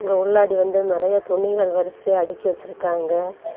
இங்க உள்ளாடி வந்து நிறைய துணிகள் வரிசையா அடக்கி வச்சிருக்காங்க.